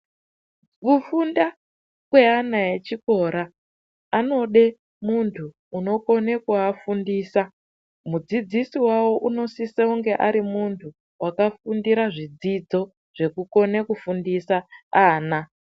Kufunda kweana echikora anode muntu unokona kuafundisa mudzidzisi wavo unosisa kunge ari muntu wakafundira zvidzidzo zvekukone kufundisa ana .